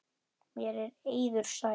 Mér er eiður sær.